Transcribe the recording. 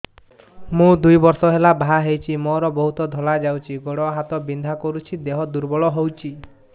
ମୁ ଦୁଇ ବର୍ଷ ହେଲା ବାହା ହେଇଛି ମୋର ବହୁତ ଧଳା ଯାଉଛି ଗୋଡ଼ ହାତ ବିନ୍ଧା କରୁଛି ଦେହ ଦୁର୍ବଳ ହଉଛି